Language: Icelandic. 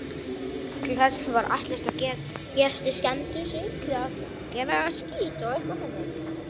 Til þess var ætlast að gestir semdu sig að daglegum siðum klausturbúa.